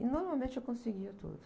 E normalmente eu conseguia tudo.